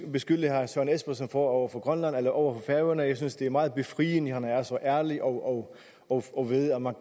beskylde herre søren espersen for over for grønland eller over for færøerne jeg synes det er meget befriende at han er så ærlig og og ved at man